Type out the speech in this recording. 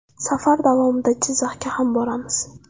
Safar davomida Jizzaxga ham boramiz.